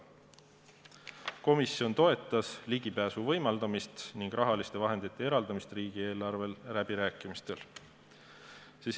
Komisjon toetas ligipääsu võimaldamist ning rahaliste vahendite eraldamist riigieelarve läbirääkimistel.